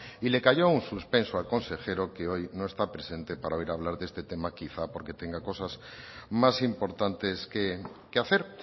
y le cayó un suspenso al consejero que hoy no está presente para oír hablar de este tema quizá porque tenga cosas más importantes que hacer